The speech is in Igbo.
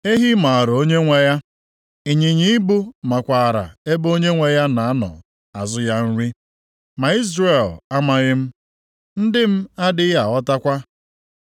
Ehi maara onyenwe ya, ịnyịnya ibu makwaara ebe onyenwe ya na-anọ azụ ya nri, ma Izrel amaghị m, ndị m adịghị aghọtakwa.”